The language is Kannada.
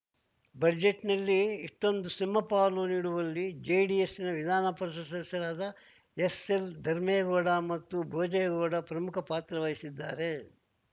ಬಜೆಟ್‌ನಲ್ಲಿ ಇಷ್ಟೊಂದು ಸಿಂಹಪಾಲು ನೀಡುವಲ್ಲಿ ಜೆಡಿಎಸ್‌ನ ವಿಧಾನ ಪರಿಷತ್‌ ಸದಸ್ಯರಾದ ಎಸ್‌ಎಲ್‌ ಧರ್ಮೇಗೌಡ ಮತ್ತು ಬೋಜೇಗೌಡ ಪ್ರಮುಖ ಪಾತ್ರ ವಹಿಸಿದ್ದಾರೆ